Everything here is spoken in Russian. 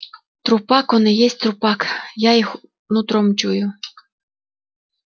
трупак он и есть трупак я их нутром чую